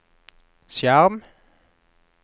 skjerm